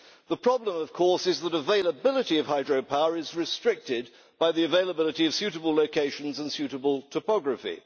The problem, of course, is that availability of hydropower is restricted by the availability of suitable locations and suitable topography.